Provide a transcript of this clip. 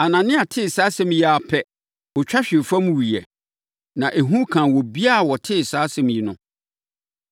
Anania tee saa asɛm yi ara pɛ, ɔtwa hwee fam wuiɛ; na ehu kaa obiara a ɔtee saa asɛm yi no.